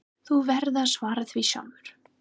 Þú verður að svara því sjálfur.